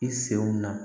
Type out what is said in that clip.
I senw na